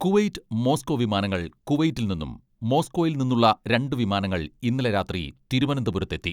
Kuwait Moscow വിമാനങ്ങൾ കുവൈറ്റിൽ നിന്നും മോസ്കോയിൽ നിന്നുള്ള രണ്ടു വിമാനങ്ങൾ ഇന്നലെ രാത്രി തിരുവനന്തപുരത്തെത്തി.